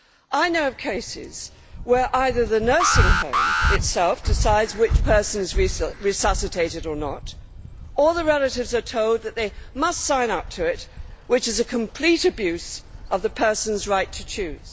I know of cases where either the nursing home itself decides which person is to be resuscitated or not, or the relatives are told that they must sign up to the document, which is a complete abuse of the person's right to choose.